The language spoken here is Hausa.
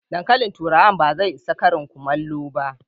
Dankalin turawan ba zai isa Karin kullamo ba.